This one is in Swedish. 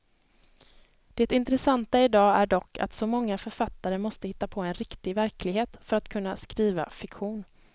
Det intressanta i dag är dock att så många författare måste hitta på en riktig verklighet för att kunna skriva fiktion.